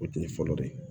O tun ye fɔlɔ de ye